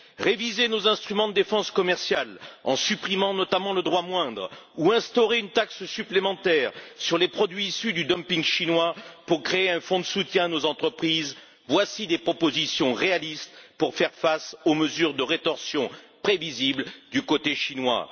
Réviser nos instruments de défense commerciale en supprimant notamment le droit moindre ou instaurer une taxe supplémentaire sur les produits issus du dumping chinois pour créer un fonds de soutien à nos entreprises, voici des propositions réalistes pour faire face aux mesures de rétorsion prévisibles du côté chinois.